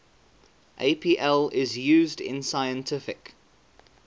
apl is used in scientific